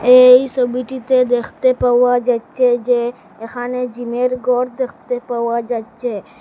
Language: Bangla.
এই সবিটিতে দেখতে পাওয়া যাচ্ছে যে এখানে জিমের গর দেখতে পাওয়া যাচ্চে।